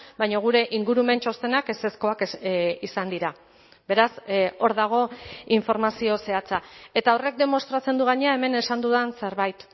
baina gure ingurumen txostenak ezezkoak izan dira beraz hor dago informazio zehatza eta horrek demostratzen du gainera hemen esan dudan zerbait